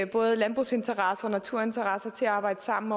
både landbrugsinteresser og naturinteresser til at arbejde sammen